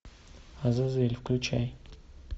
азазель включай